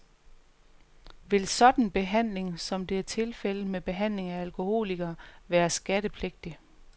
Vil sådan behandling, som det er tilfældet med behandling af alkoholikere, være skattepligtig.